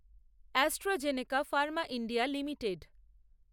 AstraZeneca Pharma India limited